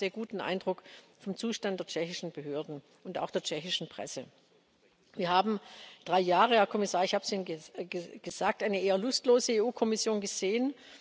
Ich habe einen sehr guten Eindruck vom Zustand der tschechischen Behörden und auch der tschechischen Presse. Wir haben drei Jahre Herr Kommissar, ich habe es Ihnen gesagt eine eher lustlose EU Kommission gesehen.